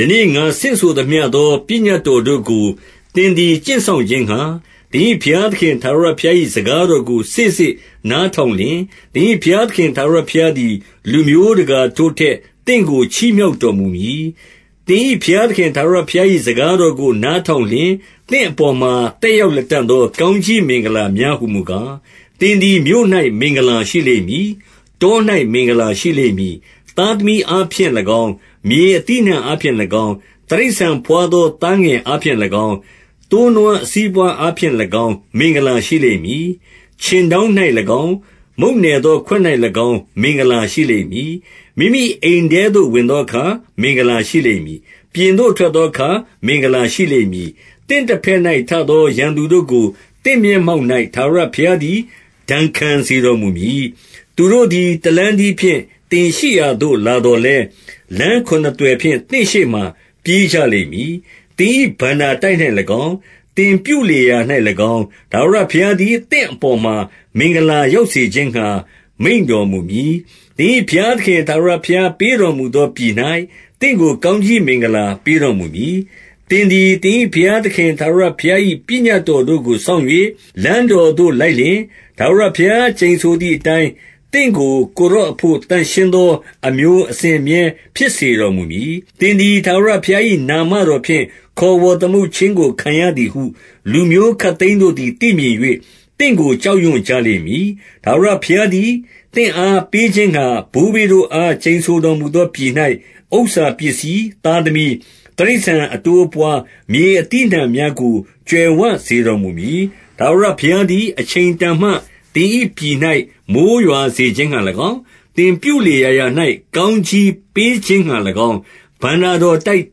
ယနေ့ ငါဆင့်ဆိုသမျှသော ပညတ်တော်တို့ကို သင်သည် ကျင့်စောင့်ခြင်းငှာ၊ သင်၏ဘုရားသခင် ထာဝရဘုရား၏ စကားတော်ကို စေ့စေ့နားထောင်လျှင်၊ သင်၏ဘုရားသခင် ထာဝရဘုရားသည် လူမျိုးတကာတို့ ထက် သင့်ကို ချီးမြှောက်တော်မူမည်။ 2 သင်၏ဘုရားသခင် ထာဝရဘုရား၏ စကား တော်ကို နားထောင်လျှင်၊ သင့်အပေါ်မှာ သက်ရောက် လတံ့သော ကောင်းကြီးမင်္ဂလာများ ဟူမူကား။ 3 သင်သည် မြို့၌ မင်္ဂလာရှိလိမ့်မည်၊ တော၌ မင်္ဂလာ ရှိလိမ့်မည်။ 4 သားသမီးအားဖြင့်၎င်း၊ မြေအသီးအနှံအားဖြင့် ၎င်း၊ တိရစ္ဆာန်ဘွားသော သားငယ်အားဖြင့်၎င်း၊ သိုးနွား အစီးအပွားအားဖြင့်၎င်း မင်္ဂလာရှိလိမ့်မည်။ 5 ခြင်တောင်း၌၎င်း၊ မုန့်နယ်သော ခွက်၌၎င်း မင်္ဂလာရှိလိမ့်မည်။ 6 မိမိအိမ်ထဲသို့ ဝင်သောအခါ မင်္ဂလာ ရှိလိမ့် မည်၊ ပြင်သို့ထွက်သောအခါ မင်္ဂလာရှိလိမ့်မည်။ 7 သင့်တဘက်၌ ထသော ရန်သူတို့ကို သင့်မျက် မှောက်၌ ထာဝရဘုရားသည် ဒဏ်ခံစေတော်မူမည်။ သူတို့သည် တလမ်းတည်းဖြင့် သင်ရှိရာသို့ လာသော် လည်း၊ လမ်းခုနှစ်သွယ်ဖြင့် သင့်ရှေ့မှ ပြေးကြလိမ့်မည်။ 8 သင်၏ ဘဏ္ဍာတိုက်၌၎င်း၊ သင်ပြုလေရာရာ၌ ၎င်း၊ ထာဝရဘုရားသည် သင့်အပေါ်မှာ မင်္ဂလာ ရောက် စေခြင်းငှာ မိန့်တော်မူမည်။ သင်၏ ဘုရားသခင် ထာဝရ ဘုရားပေးတော်မူသောပြည်၌ သင့်ကို ကောင်းကြီး မင်္ဂလာပေးတော်မူမည်။ 9 သင်သည် သင်၏ ဘုရားသခင် ထာဝရဘုရား၏ 10 သင်သည် ထာဝရဘုရား၏ နာမတော်ဖြင့် ခေါ်ဝေါ်သမုတ်ခြင်းကို ခံရသည်ဟု လူမျိုးခပ်သိမ်းတို့ သည် သိမြင်၍ သင့်ကို ကြောက်ရွံ့ကြလိမ့်မည်။ 11 ထာဝရဘုရားသည် သင့်အား ပေးခြင်းငှာ ဘိုးဘေးတို့အား ကျိန်ဆိုတော်မူသောပြည်၌ ဥစ္စာပစ္စည်း၊ သားသမီး၊ တိရစ္ဆာန်အတိုးအပွား၊ မြေအသီးအနှံများကို ကြွယ်ဝစေတော်မူမည်။ 12 ထာဝရဘုရားသည် အချိန်တန်မှ သင်၏ပြည်၌ မိုဃ်းရွာစေခြင်းငှာ၎င်း၊ သင်ပြုလေရာရာ၌ ကောင်းကြီးပေးခြင်းငှာ၎င်း၊ ဘဏ္ဍာတော်တိုက်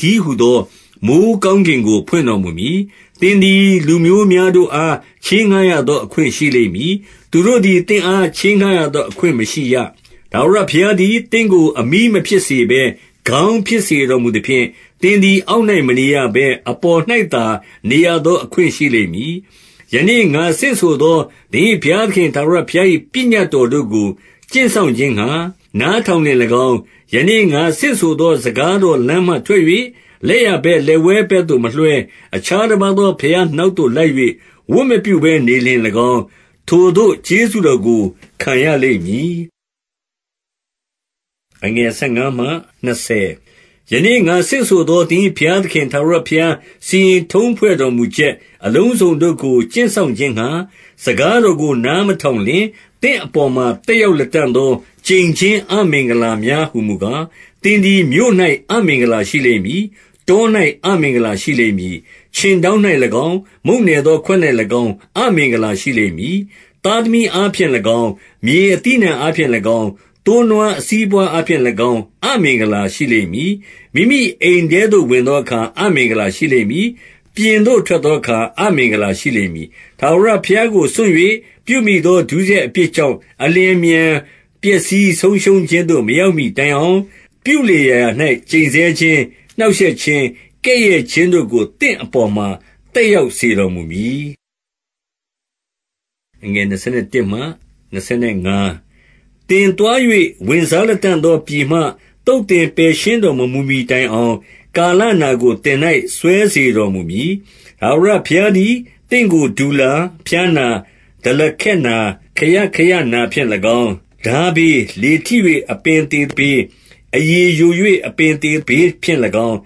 တည်းဟူ သော မိုဃ်းကောင်းကင်ကို ဖွင့်တော်မူမည်။ သင်သည် လူမျိုးများတို့အား ချေးငှားရသောအခွင့် ရှိလိမ့်မည်။ သူတို့သည် သင့်အား ချေးငှားရသောအခွင့် မရှိရ။ 13 ထာဝရဘုရားသည် သင့်ကို အမြီးမဖြစ်စေဘဲ ခေါင်းဖြစ်စေတော်မူသဖြင့်၊ သင်သည် အောက်၌မနေရ ဘဲ အပေါ်၌သာ နေရသောအခွင့် ရှိလိမ့်မည်။ ယနေ့ ငါဆင့်ဆိုသော၊ သင်၏ဘုရားသခင် ထာဝရဘုရား၏ ပညတ်တော်တို့ကို ကျင့်စောင့်ခြင်းငှာ နားထောင်လျှင်၎င်း၊ 14 ယနေ့ ငါဆင့်ဆိုသော စကားတော်လမ်းမှထွက် ၍ လက်ျာဘက်၊ လက်ဝဲဘက်သို့မလွှဲ၊ အခြားတပါးသော ဘုရားနောက်သို့ လိုက်၍ ဝတ်မပြုဘဲနေလျှင်၎င်း၊ ထိုသို့ သော ကျေးဇူးတော်ကို ခံရလိမ့်မည်။ 15 ယနေ့ ငါဆင့်ဆိုသော သင်၏ဘုရားသခင် ထာဝရဘုရား စီရင်ထုံးဖွဲ့တော်မူချက် အလုံးစုံတို့ ကို ကျင့်စောင့်ခြင်းငှာ စကားတော်ကို နားမထောင်လျှင်၊ သင့်အပေါ်မှာ သက်ရောက်လတံ့သော ကျိန်ခြင်း အမင်္ဂ လာများဟူမူကား၊ 16 သင်သည် မြို့၌ အမင်္ဂလာရှိလိမ့်မည်၊ တော၌ အမင်္ဂလာရှိလိမ့်မည်။ 17 ခြင်တောင်း၌၎င်း၊ မုန့်နယ်သော ခွက်၌၎င်း အမင်္ဂလာရှိလိမ့်မည်။ 18 သားသမီးအားဖြင့်၎င်း၊ မြေအသီးအနှံအားဖြင့် ၎င်း၊ သိုးနွားအစီးအပွားအားဖြင့်၎င်း အမင်္ဂလာရှိလိမ့် မည်။ 19 မိမိအိမ်ထဲသို့ ဝင်သောအခါ အမင်္ဂလာရှိလိမ့် မည်။ ပြင်သို့ ထွက်သောအခါ အမင်္ဂလာရှိလိမ့်မည်။ 20 ထာဝရဘုရားကို စွန့်၍ ပြုမိသော ဒုစရိုက် အပြစ်ကြောင့် အလျင်အမြန် ပျက်စီးဆုံးရှုံးခြင်းသို့ မရောက်မှီတိုင်အောင်၊ ပြုလေရာရာ၌ ကျိန်ဆဲခြင်း၊ နှောင့်ရှက်ခြင်း၊ ကဲ့ရဲ့ခြင်းတို့ကို သင့်အပေါ်မှာ သက် ရောက်စေတော်မူမည်။ 21 သင်သွား၍ ဝင်စားလတံ့သောပြည်မှ သုတ် သင်ပယ်ရှင်းတော်မမူမှီ တိုင်အောင်၊ ကာလနာကို သင်၌ စွဲစေတော်မူမည်။ 22 ထာဝရဘုရားသည် သင့်ကို တူလာ၊ ဖျားနာ၊ ဒလခက်နာ၊ ခရခရနာဖြင့်၎င်း၊ ထားဘေး၊ လေထိ၍ အပင်သေဘေး၊ အရည်ယို၍ အပင်သေဘေးဖြင့်၎င်း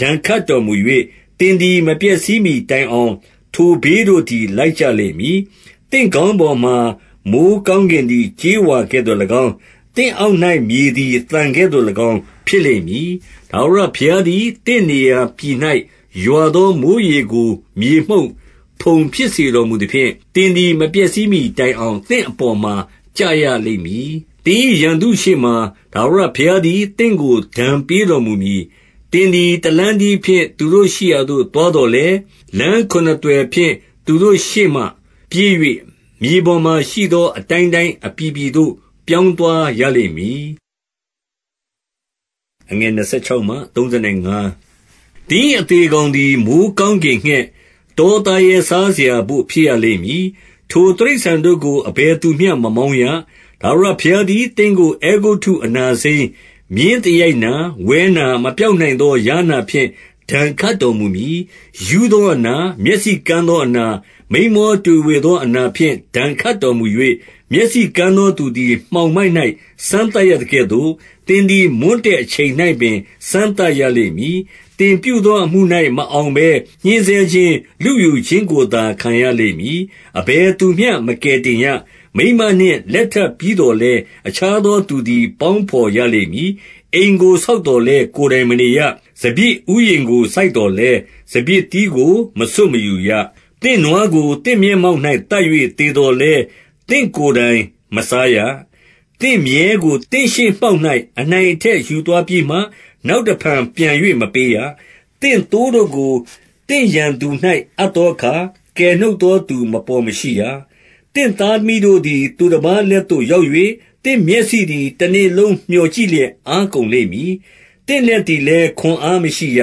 ဒဏ်ခတ်တော်မူ၍၊ သင်သည် မပျက်စီးမှီတိုင်အောင် ထိုဘေးတို့သည် လိုက်ကြလိမ့်မည်။ 23 သင့်ခေါင်းပေါ်မှာ မိုဃ်းကောင်းကင်သည် ကြေးဝါကဲ့သို့၎င်း၊ သင့်အောက်၌ မြေသည် သံကဲ့သို့၎င်း ဖြစ်လိမ့်မည်။ 24 ထာဝရဘုရားသည် သင့်နေရာပြည်၌ ရွာသော မိုဃ်းရေကို မြေမှုန့်၊ ဖုံဖြစ်စေတော်မူသဖြင့်၊ သင်သည် မပျက်စီးမှီတိုင်အောင် သင့်အပေါ်မှာ ကျရလိမ့်မည်။ 25 သင်၏ရန်သူရှေ့မှာ ထာဝရဘုရားသည် သင့်ကို ဒဏ်ပေးတော်မူမည်။ သင်သည် တလမ်းတည်းဖြင့် သူတို့ ရှိရာသို့ သွားသော်လည်း၊ လမ်းခုနှစ်သွယ်ဖြင့် သူတို့ရှေ့မှ ပြေး၍ မြေပေါ်မှာရှိသော အတိုင်းတိုင်း အပြည်ပြည်သို့ ပြောင်းသွားရလိမ့်မည်။ 26 သင်၏အသေကောင်သည် မိုဃ်းကောင်းကင် ငှက်၊ တောသားရဲစားစရာ့ဘို့ ဖြစ်ရလိမ့်မည်။ ထိုတိရစ္ဆာန် တို့ကို အဘယ်သူမျှ မမောင်းရ။ 27 ထာဝရဘုရားသည် သင့်ကို အဲဂုတ္တုအနာစိမ်း၊ မြင်းသရိုက်နာ၊ ဝဲနာ၊ မပျောက်နိုင်သော ယားနာဖြင့် ဒဏ်ခတ်တော်မူမည်။ 28 ရူးသောအနာ၊ မျက်စိကန်းသောအနာ၊ မိန်းမောတွေဝေသောအနာဖြင့် ဒဏ်ခတ်တော်မူ၍၊ 29 မျက်စိကန်းသောသူသည် မှောင်မိုက်၌ စမ်း သပ်ရသကဲ့သို့၊ သင်သည် မွန်းတည့်အချိန်၌ပင် စမ်းသပ် ရလိမ့်မည်။ သင်ပြုသောအမှု၌ မအောင်ဘဲ ညှဉ်းဆဲခြင်း၊ လုယူခြင်းကိုသာ ခံရလိမ့်မည်။ အဘယ်သူမျှ မကယ်တင် ရ။ 30 မိန်းမနှင့်လက်ထပ်ပြီးသော်လည်း အခြားသော သူသည် ပေါင်းဘော်ရလိမ့်မည်။ အိမ်ကို ဆောက်သော် လည်း ကိုယ်တိုင်မနေရ။ စပျစ်ဥယျာဉ်ကို စိုက်သော် လည်း စပျစ်သီးကို မဆွတ်မယူရ။ 31 သင့်နွားကို သင့်မျက်မှောက်၌ သတ်၍သေ သော်လည်း သင့်ကိုယ်တိုင်မစားရ။ သင့်မြည်းကို သင့်ရှေ့ မှောက်၌ အနိုင်အထက်ယူသွားပြီးမှ၊ နောက်တဖန်ပြန်၍ မပေးရ။ သင့်သိုးတို့ကို သင့်ရန်သူ၌ အပ်သောအခါ ကယ်နှုတ်သောသူမပေါ်မရှိရ။ 32 သင့်သားသမီးတို့သည် သူတပါးလက်သို့ရောက် ၍၊ သင့်မျက်စိသည် တနေ့လုံး မြော်ကြည့်လျက် အားကုန် လိမ့်မည်။ သင့်လက်သည်လည်း ခွန်အားမရှိရ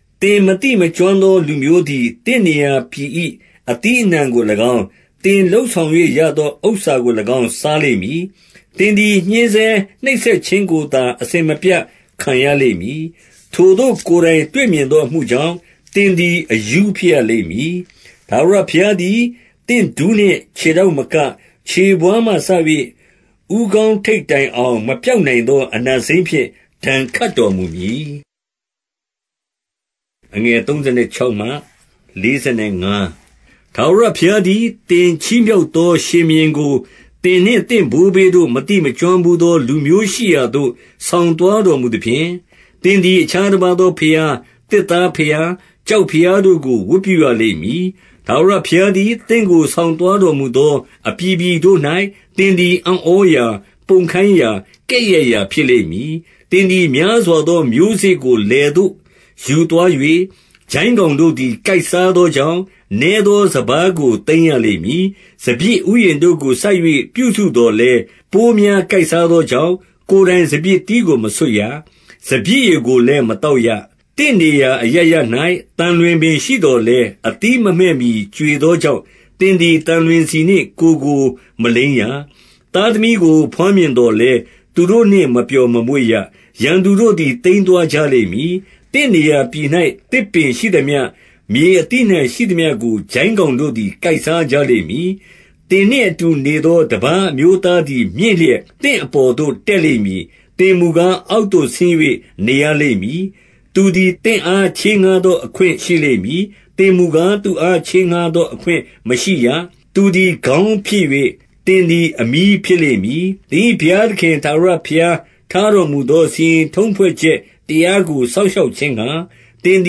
။ 33 သင် မသိမကျွမ်းသောလူမျိုးသည် သင့်နေရာ ပြည်၏ အသီးအနှံကို၎င်း၊ သင်လုပ်ဆောင်၍ရသော ဥစ္စာကို၎င်း စားလိမ့်မည်။ သင်သည် ညှဉ်းဆဲနှိပ်စက် ခြင်းကိုသာ အစဉ်မပြတ် ခံရလိမ့်မည်။ 34 ထိုသို့ ကိုယ်တိုင်တွေ့မြင်သော အမှုကြောင့် သင်သည် အရူးဖြစ်ရလိမ့်မည်။ 35 ထာဝရဘုရားသည် သင့်ဒူးနှင့် ခြေထောက်မက၊ ခြေဘဝါးမှစ၍ ဦးခေါင်းထိပ်တိုင်အောင် မပျောက်နိုင် သော အနာစိမ်းဖြင့် ဒဏ်ခတ်တော်မူမည်။ 36 ထာဝရဘုရားသည်၊ သင်ချီးမြှောက်သော ရှင် ဘုရင်ကို သင်နှင့်သင့်ဘိုးဘေးတို့ မသိမကျွမ်းဘူးသော လူမျိုးရှိရာသို့ ဆောင်သွားတော်မူသဖြင့်၊ သင်သည် အခြားတပါးသော ဘုရား၊ သစ်သားဘုရား၊ ကျောက်ဘု ရားတို့ကို ဝတ်ပြုရလိမ့်မည်။ 37 ထာဝရဘုရားသည် သင့်ကို ဆောင်သွားတော်မူ သော အပြည်ပြည်တို့၌ သင်သည် အံ့ဩရာ၊ ပုံခိုင်းရာ၊ ကဲ့ရဲ့ရာဖြစ်လိမ့်မည်။ 38 သင်သည် များစွာသော မျိုးစေ့ကို လယ်သို့ယူ သွား၍ ကျိုင်းကောင်တို့သည် ကိုက်စားသောကြောင့်၊ နည်းသောစပါးကို သိမ်းရလိမ့်မည်။ 39 စပျစ်ဥယျာဉ်တို့ကို စိုက်၍ ပြုစုသော်လည်း၊ ပိုးများ ကိုက်စားသောကြောင့် ကိုယ်တိုင် စပျစ်သီးကို မဆွတ်ရ၊ စပျစ်ရည်ကိုလည်း မသောက်ရ။ 40 သင့်နေရာအရပ်ရပ်၌ သံလွင်ပင်ရှိသော်လည်း၊ အသီးမမှည့်မှီ ကြွေသောကြောင့် သင်သည် သံလွင်ဆီနှင့် ကိုယ်ကိုမလိမ်းရ။ 41 သားသမီးကို ဘွားမြင်သော်လည်း၊ သူတို့နှင့် မပျော်မမွေ့ရ။ ရန်သူတို့သည် သိမ်းသွားကြလိမ့်မည်။ 42 သင့်နေရာပြည်၌ သစ်ပင်ရှိသမျှ၊ မြေအသီးအနှံ ရှိသမျှကို ကျိုင်းကောင်တို့သည် ကိုက်စားကြလိမ့်မည်။ 43 သင်နှင့်အတူနေသော တပါးအမျိုးသားသည် မြင့်လျက်၊ သင့်အပေါ်သို့ တက်လိမ့်မည်။ သင်မူကား၊ အောက်သို့ဆင်း၍ နေရလိမ့်မည်။ 44 သူသည် သင့်အား ချေးငှားသောအခွင့်ရှိလိမ့် မည်။ သင်မူကား၊ သူ့အားချေးငှားသော အခွင့်မရှိရ။ သူသည် ခေါင်းဖြစ်၍၊ သင်သည် အမြီးဖြစ်လိမ့်မည်။ 45 သင်၏ဘုရားသခင် ထာဝရဘုရား ထားတော်မူ သော စီရင်ထုံးဖွဲ့ချက်တရားကို စောင့်ရှောက်ခြင်းငှာ၊ သင်သ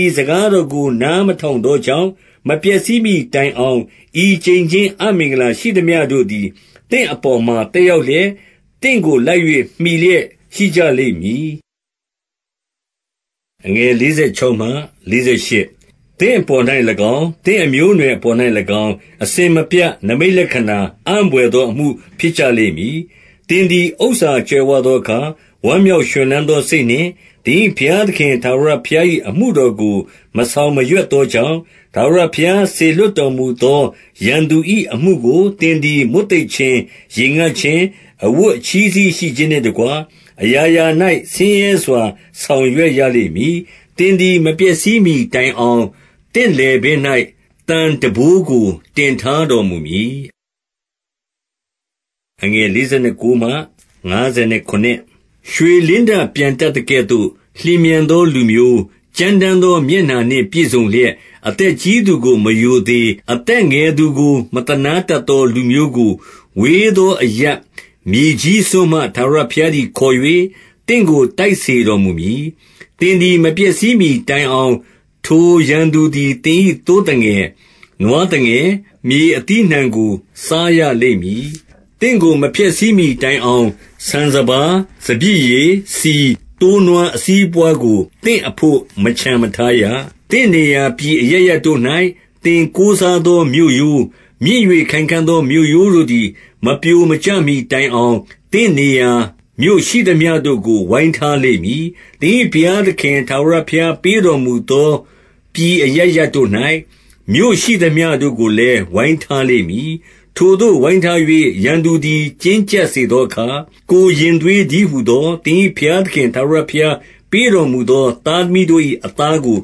ည် စကားတော်ကို နားမထောင်သောကြောင့်၊ မပျက်စီးမှီတိုင်အောင် ဤကျိန်ခြင်းအမင်္ဂလာ ရှိသမျှတို့ သည် သင့်အပေါ်မှာ သက်ရောက်လျက်၊ သင့်ကိုလိုက်၍ မှီလျက် ရှိကြလိမ့်မည်။ 46 သင့်အပေါ်၌၎င်း၊ သင့်အမျိုးအနွယ်အပေါ်၌ ၎င်း၊ အစဉ်မပြတ် နိမိတ်လက္ခဏာ အံ့ဘွယ်သောအမှု ဖြစ်ကြလိမ့်မည်။ 47 သင်သည် ဥစ္စာကြွယ်ဝသောအခါ၊ ဝမ်းမြောက် ရွှင်လန်းသောစိတ်နှင့် သင်၏ဘုရားသခင် ထာဝရဘုရား ၏ အမှုတော်ကို မဆောင်မရွက်သောကြောင့်၊ 48 ထာဝရဘုရားစေလွှတ်တော်မူသော ရန်သူ၏ အမှုကို သင်သည် မွတ်သိပ်ခြင်း၊ ရေငတ်ခြင်း၊ အဝတ် အချည်းစည်းရှိခြင်းနှင့်တကွ၊ အရာရာ၌ ဆင်းရဲစွာ ဆောင်ရွက်ရလိမ့်မည်။ သင်သည် မပျက်စီးမှီတိုင်အောင် သင့်လည်ပင်း၌ သံထမ်းဘိုးကို တင်ထားတော်မူမည်။ 49 ရွှေလင်းတပျံတတ်သကဲ့သို့ လျင်မြန်သောလူ မျိုး၊ ကြမ်းတမ်းသောမျက်နှာနှင့် ပြည့်စုံလျက်၊ 50 အသက်ကြီးသူကို မရိုသေ၊ အသက်ငယ်သူကို မသနားတတ်သော လူမျိုးကို၊ ဝေးသောအရပ်၊ မြေကြီး စွန်းမှ ထာဝရဘုရားသည် ခေါ်၍ သင့်ကို တိုက်စေတော် မူမည်။ 51 သင်သည် မပျက်စီးမှီတိုင်အောင်၊ ထိုရန်သူ သည် သင်၏သိုးသငယ်၊ နွားသငယ်၊ မြေအသီးအနှံကို စားရလိမ့်မည်။ သင့်ကို မဖျက်ဆီးမှီတိုင်အောင်၊ ဆန် စပါး၊ စပျစ်ရည်၊ ဆီ၊ သိုးနွားအစီးအပွားကို သင့်အဘို့ မချန်မထားရ။ 52 သင့်နေရာပြည်အရပ်ရပ်တို့၌ သင်ကိုးစားသော မြို့ရိုး၊ မြင့်၍ ခိုင်ခံ့သော မြို့ရိုးတို့သည် မပြိုမကျမှီ တိုင် အောင်၊ သင့်နေရာမြို့ ရှိသမျှတို့ကို ဝိုင်းထားလိမ့်မည်။ သင်၏ဘုရားသခင် ထာဝရဘုရားပေးတော်မူသော ပြည်အရပ်ရပ်တို့၌၊ မြို့ရှိသမျှတို့ကိုလည်း ဝိုင်းထားလိမ့် မည်။ 53 ထိုသို့ ဝိုင်းထား၍ ရန်သူသည် ကျဉ်းကျပ်စေ သောအခါ၊ ကိုယ်ရင်သွေး တည်းဟူသော သင်၏ဘုရား သခင် ထာဝရဘုရားပေးတော်မူသော သားသမီးတို့၏ အသားကို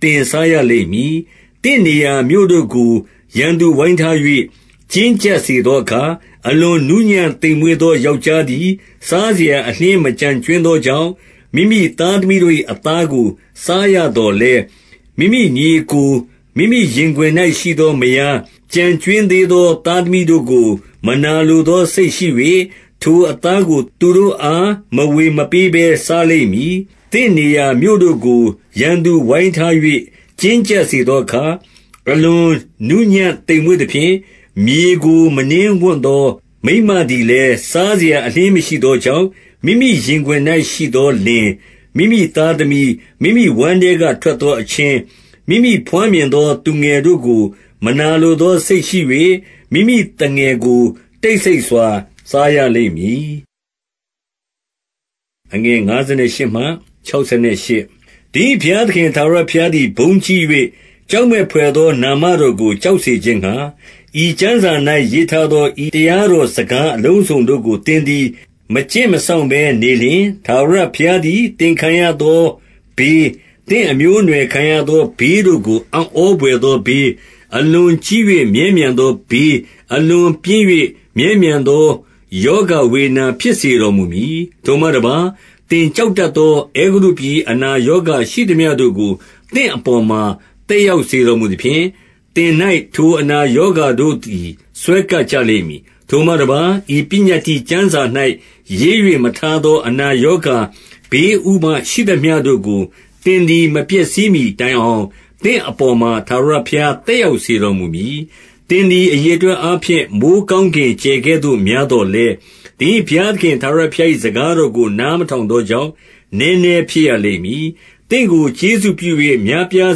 သင်စားရလိမ့်မည်။ 54 သင့်နေရာမြို့တို့ကို ရန်သူဝိုင်းထား၍ ကျဉ်းကျပ် စေသောအခါ၊ 55 အလွန်နူးညံ့သိမ်မွေ့သော ယောက်ျားသည် စားစရာ အလျှင်း မကျန်ကြွင်းသောကြောင့်၊ မိမိသား သမီး၏ အသားကို စားရသော်လည်း၊ မိမိညီအစ်ကို၊ မိမိ ရင်ခွင်၌ ရှိသော မယား ကျန်ကြွင်းသေးသော သားသမီး တို့ကို မနာလိုသောစိတ်ရှိ၍၊ ထိုအသားကို သူတို့အား မဝေမပေးဘဲ စားလိမ့်မည်။ 56 သင့်နေရာမြို့တို့ကို ရန်သူဝိုင်းထား၍ ကျဉ်း ကျပ်စေသောအခါ၊ 57 အလွန်နူးညံ့သိမ်မွေ့သဖြင့် မြေကို မနင်းဝံ့သော မိန်းမသည်လည်း၊ စားစရာအလျှင်း မရှိသောကြောင့်၊ မိမိရင်ခွင်၌ရှိသော လင်၊ မိမိသားသမီး၊ မိမိဝမ်းထဲက ထွက်သော အချင်း၊ မိမိဘွားမြင်သော သူငယ်တို့ကို မနာလိုသောစိတ်ရှိ၍၊ မိမိသူငယ်ကို တိတ်ဆိတ်စွာ စားရလိမ့်မည်။ 58 သင်၏ဘုရားသခင် ထာဝရဘုရားသည် ဘုန်းကြီး၍ ကြောက်မက်ဘွယ်သော နာမတော်ကို ကြောက်စေခြင်းငှာ၊ ဤကျမ်းစာ၌ ရေးထားသော ဤတရားတော်ကို စကားအလုံးစုံတို့ကို သင်သည် မကျင့် မစောင့်ဘဲ နေလျှင်၊ 59 ထာဝရဘုရားသည် သင်ခံရသောဘေး၊ သင့်အ မျိုးအနွှယ် ခံရသော ဘေးတို့ကို အံ့ဩဘွယ်သော ဘေး၊ အလွန်ကြီး၍ မြဲမြံသောဘေး၊ အလွန်ပြင်း၍ မြဲမြံ သောရောဂါဝေဒနာ ဖြစ်စေတော်မူမည်။ 60 ထိုမှတပါး၊ သင်ကြောက်တတ်သော အဲဂုတ္တု ပြည်၏ အနာရောဂါရှိသမျှတို့ကို သင့်အပေါ်မှာ သက် ရောက်စေတော်မူသဖြင့်၊ သင်၌ ထိုအနာရောဂါတို့သည် စွဲကပ်ကြလိမ့်မည်။ 61 ထိုမှတပါး၊ ဤပညတ္တိကျမ်းစာ၌ ရေး၍မထား သော အနာရောဂါ ဘေးဥပဒ်ရှိသမျှတို့ကို သင်သည် မပျက်စီးမှီတိုင်အောင်၊ သင့်အပေါ်မှာ ထာဝရဘုရား သက်ရောက်စေတော်မူမည်။ 62 သင်သည် အရေအတွက်အားဖြင့် မိုဃ်းကောင်း ကင် ကြယ်ကဲ့သို့များသော်လည်း၊ သင်၏ဘုရားသခင် ထာဝရဘုရား၏ စကားတော်ကို နားမထောင်သော ကြောင့် နည်းနည်းဖြစ်ရလိမ့်မည်။ 63 သင့်ကို ကျေးဇူးပြု၍ များပြား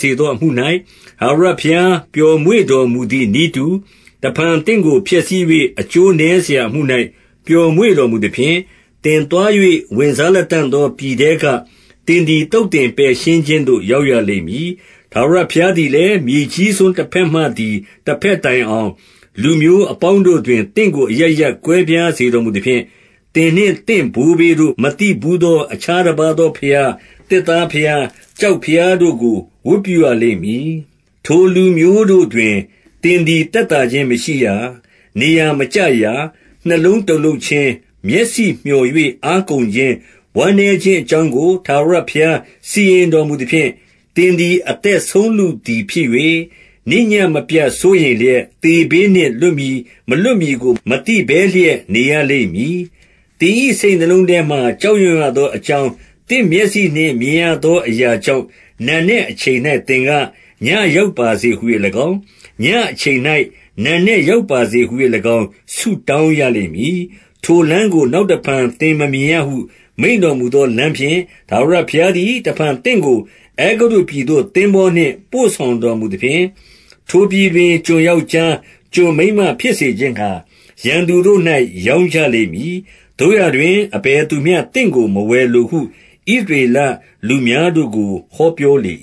စေသောအမှု၌ ထာဝရဘုရား ပျော်မွေ့တော်မူသည်နည်းတူ၊ တဖန် သင့်ကို ဖျက်ဆီး၍ အကျိုးနည်းစရာ အမှု၌ ပျော်မွေ့ တော်မူသဖြင့်၊ သင်သွား၍ ဝင်စားလတံ့သော ပြည်ထဲက သင်သည် သုတ်သင် ပယ်ရှင်းခြင်းသို့ ရောက်ရလိမ့်မည်။ 64 ထာဝရဘုရားသည်လည်း၊ မြေကြီးစွန်းတဘက် မှသည် တဘက်တိုင်အောင်၊ လူမျိုးအပေါင်းတို့တွင် သင့်ကို အရပ်ရပ် ကွဲပြားစေတော်မူသဖြင့်၊ သင်နှင့်သင့် ဘိုးဘေးတို့ မသိဘူးသော အခြားတပါးသောဘုရား၊ သစ်သားဘုရား၊ ကျောက်ဘုရားတို့ကို ဝတ်ပြုရလိမ့်မည်။ 65 ထိုလူမျိုးတို့တွင် သင်သည် သက်သာခြင်းမရှိရာ၊ နေရာမကျရာ။ နှလုံးတုန်လှုပ်ခြင်း၊ မျက်စိမြော်၍ အား ကုန်ခြင်း၊ ဝမ်းနည်းခြင်းအကြောင်းကို ထာဝရဘုရား စီရင်တော်မူသဖြင့်၊ 66 သင်သည် အသက်ဆုံးလုသည်ဖြစ်၍၊ နေ့ညဉ့် မပြတ်စိုးရိမ်လျက် သေဘေးနှင့် လွတ်မည်မလွတ်မည်ကို မသိဘဲလျက် နေရလိမ့်မည်။ 67 သင်၏စိတ်နှလုံးထဲမှာ ကြောက်ရွံ့ရသောအ ကြောင်း၊ သင့်မျက်စိနှင့် မြင်ရသောအရာကြောင့်၊ နံနက် အချိန်၌ သင်က၊ ညဉ့်ရောက်ပါစေဟူ၍၎င်း၊ ညဉ့်အချိန်၌ နံနက်ရောက်ပါစေဟူ၍၎င်း ဆုတောင်းရလိမ့်မည်။ 68 ထိုလမ်းကို နောက်တဖန် သင်မမြင်ရဟု မိန့် တော်မူသောလမ်းဖြင့် ထာဝရဘုရားသည် တဖန် သင့်ကို အဲဂုတ္တုပြည်သို့ သင်္ဘောနှင့် ပို့ဆောင်တော်မူသဖြင့်၊ ထို ပြည်တွင် ကျွန်ယောက်ျား၊ ကျွန်မိန်းမဖြစ်စေခြင်းငှာ ရန်သူတို့၌ ရောင်းကြလိမ့်မည်။ သို့ရာတွင် အဘယ်သူမျှ သင့်ကို မဝယ်လိုဟု ဣသရေလလူမျိုးတို့ကို ဟောပြော လေ